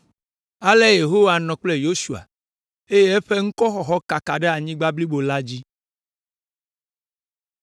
Ale Yehowa nɔ kple Yosua, eye eƒe ŋkɔxɔxɔ kaka ɖe anyigba blibo la dzi.